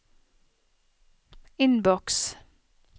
innboks